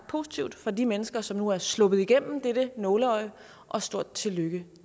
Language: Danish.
positivt for de mennesker som nu er sluppet igennem dette nåleøje og stort tillykke